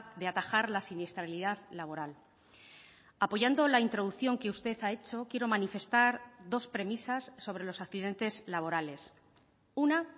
de atajar la siniestralidad laboral apoyando la introducción que usted ha hecho quiero manifestar dos premisas sobre los accidentes laborales una